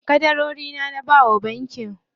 Ƙadarorina na bawa bankin.